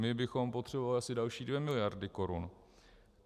My bychom potřebovali asi další 2 miliardy korun.